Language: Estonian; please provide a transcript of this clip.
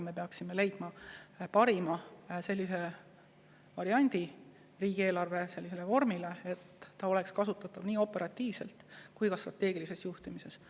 Me peaksime leidma parima variandi riigieelarve vormile, nii et see oleks kasutatav operatiivselt ja ka strateegilises juhtimises.